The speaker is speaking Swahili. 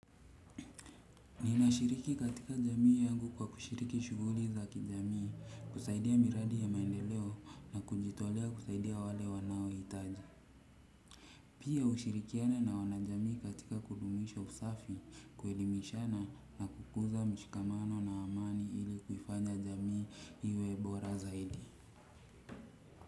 Ninashiriki katika jamii yangu kwa kushiriki shughuli za kijamii, kusaidia miradi ya maendeleo na kujitolea kusaidia wale wanao hitaji. Pia hushirikiana na wanajamii katika kudumisha usafi, kuelimishana na kukuza mshikamano na amani ili kuifanya jamii iwe bora zaidi.